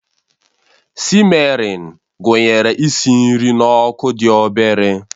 Sịmmerin gụnyere isi nri n'ọkụ dị obere